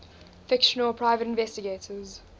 fictional private investigators